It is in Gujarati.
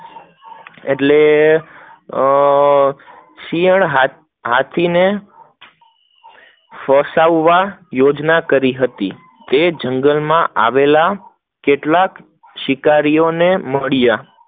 એટલે અમ શિયાળ હાથી ને ફસાવવા યોજના કરી હતી, તે જંગલ માં આવેલા કેટલાક શિકારી ને મળ્યા